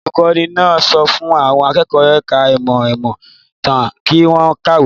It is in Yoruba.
Olùkọ́ní náà sọ fún àwọn akẹ́kọ̀ọ́ ẹ̀ka-ìmọ̀ ìmọ̀-ìtàn kí wọ́n kàwé.